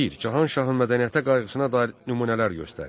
Bir. Cahanşahın mədəniyyətə qayğısına dair nümunələr göstər.